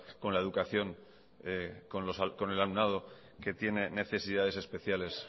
con la educación con el alumnado que tiene necesidades especiales